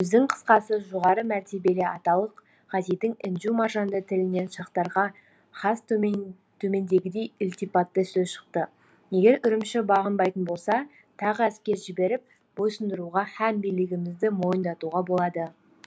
сөздің қысқасы жоғары мәртебелі аталық ғазидың інжу маржанды тілінен шахтарға хас төмендегідей ілтипатты сөз шықты егер үрімші бағынбайтын болса тағы әскер жіберіп бойсұндыруға һәм билігімізді мойындатуға болады